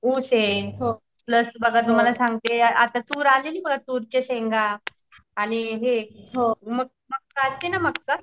ऊसे plus बघा तुम्हाला सांगते आता तूर आलेली बघा तुरच्या शेंगा आणि मक्का असती ना मक्का